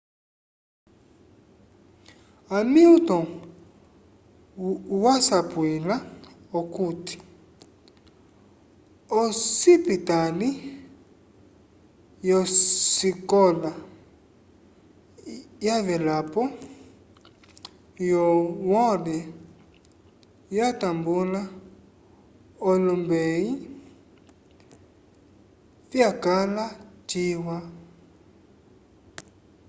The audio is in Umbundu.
hamilton wasapwila okuti osipitali yosikola yavelapo yo howard yatambula olombeyi vyakala ciwa